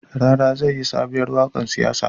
Rara zai yi sobuwar waƙar siyasa